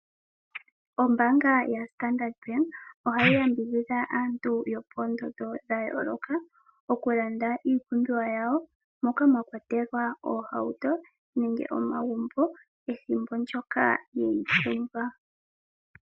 Ombaanga ya Standard Bank ohayi yambidhidha aantu yopoondondo dha yooloka. Oku landa iipumbiwa yawo moka mwa kwatelwa oohauto nenge omagumbo pethimbo ndyoka ye yi pumbwa.